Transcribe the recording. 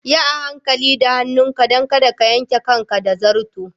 Yi hankali da hannunka don kada ka yanke kanka da zarto.